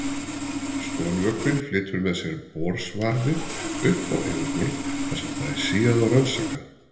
Skolvökvinn flytur með sér borsvarfið upp á yfirborð þar sem það er síað og rannsakað.